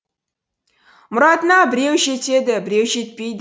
мұратына біреу жетеді біреу жетпейді